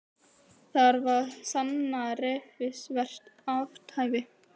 Þarf að sanna refsivert athæfi